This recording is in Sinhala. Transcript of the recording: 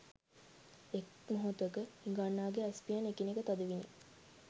එක් මොහොතක හිඟන්නාගේ ඇස් පියන් එකිනෙක තද විණි